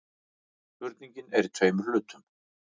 Spurningin er í tveimur hlutum.